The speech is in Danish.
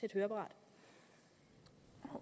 et høreapparat